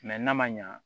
Mɛ n'a ma ɲa